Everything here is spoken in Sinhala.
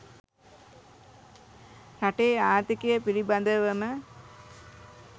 රටේ ආර්ථිකය පිළිබදවම